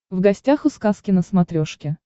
в гостях у сказки на смотрешке